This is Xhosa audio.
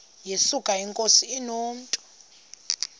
yesuka inkosi inomntu